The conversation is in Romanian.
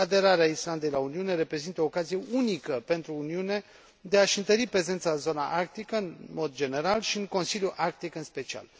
Aderarea Islandei la Uniune reprezintă o ocazie unică pentru Uniune de a și întări prezența în zona arctică, în mod general, și în Consiliul Arctic, în special.